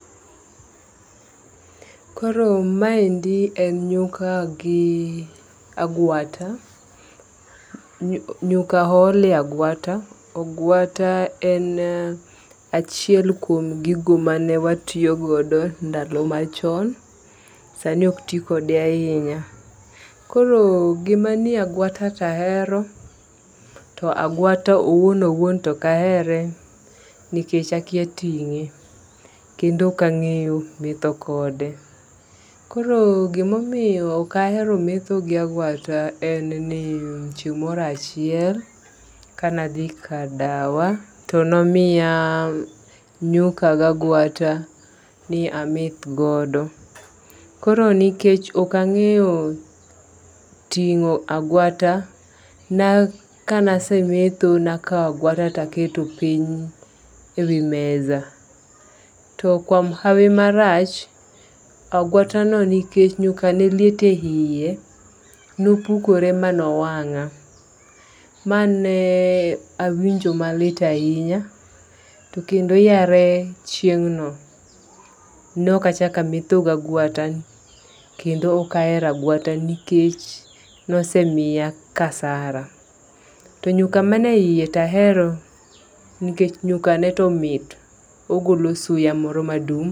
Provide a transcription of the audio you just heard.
Koro ma endi en nyuka gi agwata. Nyuka oole agwata, agwata en achiel kuom gigo mane watiyo go ndalo machon sani ok tii kode ahinya. Koro gima nie agwata tahero to agwata owuon owuon tok ahere nikech akia ting'e kendo ok ang'eyo metho kode. Koro gimomiyo ok ahero metho gi agwata en ni chieng' morachiel kanadhie kadawa to nomiya ,nyuka ga gwata mi ameth godo. Koro nikech ok ang'eyo ting'o agwata na ka na semetho nakawo agwata taketo piny e wi meza. To kuom hawi maracha gwata no nikech nyuka ne liete eiye nopukore ma nowang'a mane awinjo malit ahinya. To kendo yare chieng' no nok achak ametho gagwata kendo ok ahero agwata nikech nosemiya kasara. To nyuka man e iye tahero nikech nyuka ne to mit ogolo suya moro madum .